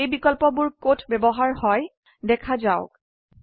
এই বিকল্পবোৰ কত ব্যবহাৰ হয় দেখা যাওক